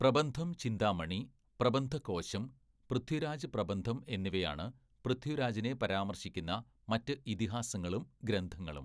പ്രബന്ധം ചിന്താമണി, പ്രബന്ധകോശം, പൃഥ്വിരാജ് പ്രബന്ധം എന്നിവയാണ് പൃഥ്വിരാജിനെ പരാമർശിക്കുന്ന മറ്റ് ഇതിഹാസങ്ങളും ഗ്രന്ഥങ്ങളും.